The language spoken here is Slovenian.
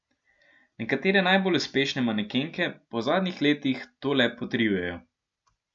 Nekatere najbolj uspešne manekenke pa v zadnjih letih to le potrjujejo.